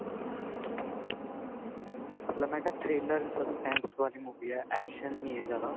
ਮਤਲਬ ਮੈਂ ਕਿਹਾ thriller suspense ਵਾਲੀ movie ਹੈ action ਨਹੀਂ ਹੈ ਜਿਆਦਾ